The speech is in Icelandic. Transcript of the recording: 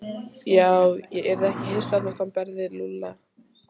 Já, ég yrði ekki hissa þótt hann berði Lúlla.